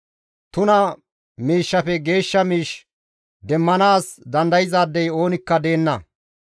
Tuna miishshafe geeshsha miish demmanaas dandayzaadey oonikka deenna.